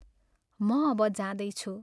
म अब जाँदैछु।